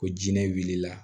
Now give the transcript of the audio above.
Ko jinɛ wulila